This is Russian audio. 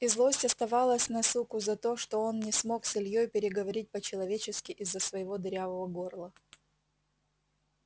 и злость оставалась на суку за то что он не смог с ильёй переговорить по-человечески из-за своего дырявого горла